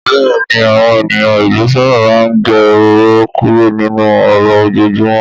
Bẹ́ẹ̀ni, àwọn ènìyàn ìlú sábà máa ń gé ọ̀rọ̀ kúrú nínú ọ̀rọ̀ ojoojúmọ́.